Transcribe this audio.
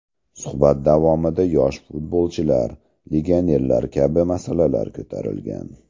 Suhbat davomida yosh futbolchilar, legionerlar kabi masalalar ko‘tarilgan.